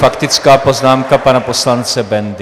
Faktická poznámka pana poslance Bendy.